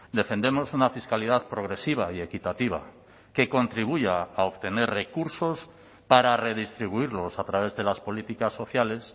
defendemos una fiscalidad progresiva y equitativa que contribuya a obtener recursos para redistribuirlos a través de las políticas sociales